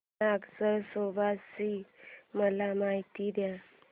नाग नरसोबा ची मला माहिती दे